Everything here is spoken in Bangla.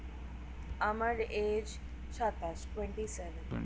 আমার age সাতাশ Twenty-seven